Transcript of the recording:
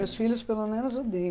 Meus filhos pelo menos odeiam.